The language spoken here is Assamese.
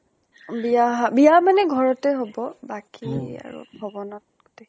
বিয়া বিয়া মানে ঘৰতে হব। বাকী আৰু ভৱনত গোতেইখিনি